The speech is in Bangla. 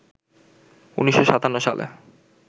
১৯৫৭ সালে